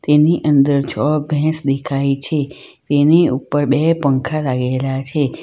એની અંદર છ ભેંસ દેખાય છે તેની ઉપર બે પંખા લાગેલા છે.